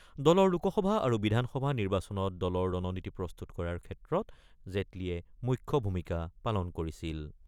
দলৰ লোকসভা আৰু বিধানসভা নিৰ্বাচনত দলৰ ৰণনীতি প্ৰস্তুত কৰাৰ ক্ষেত্ৰত জেটলীয়ে মুখ্য ভূমিকা পালন কৰিছিল।